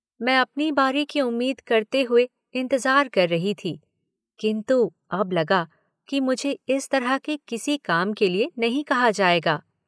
मैं अपनी बारी की उम्मीद करते हुए इंतज़ार कर रही थी, किन्तु अब लगा कि मुझे इस तरह के किसी काम के लिए नहीं कहा जाएगा।